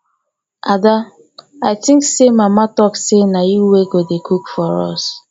ada i think say mama talk say na you wey go dey cook for us